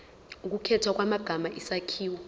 ukukhethwa kwamagama isakhiwo